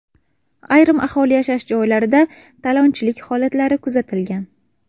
Ayrim aholi yashash joylarida talonchilik holatlari kuzatilgan.